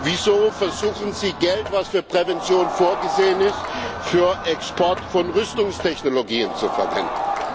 Wieso versuchen Sie, Geld, das für Prävention vorgesehen ist, für den Export von Rüstungstechnologien zu verwenden?